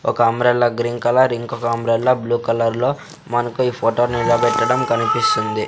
ఒక umbrella green colour ఇంకొక umbrella blue కలర్లో మనకు ఈ ఫోటో నిలపెట్టడం కనిపిస్తుంది.